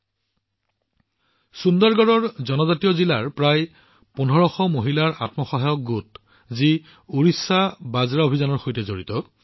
জনজাতীয় জিলা সুন্দৰগড়ৰ প্ৰায় ১৫০০ মহিলাৰ এটা আত্মসহায়ক গোট ওড়িশা মিলেটছ মিছনৰ সৈতে জড়িত